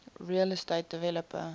real estate developer